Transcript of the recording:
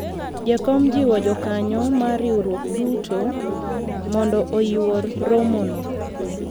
jakom jiwo jokanyo mar riwruok duto mondo oyuor romo no